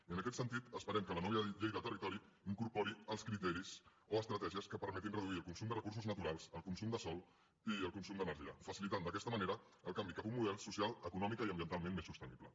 i en aquest sentit esperem que la nova llei de territori incorpori els criteris o estratègies que permetin reduir el consum de recursos naturals els consum de sòl i el consum d’energia facilitant d’aquesta manera el canvi cap a un model socialment econòmicament i ambientalment més sostenible